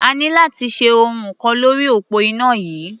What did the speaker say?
A ní láti ṣe ohun kan lórí òpó iná yìí.